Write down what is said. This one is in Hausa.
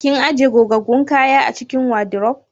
Kin ajiye gogaggun kayan a cikin wadiruf?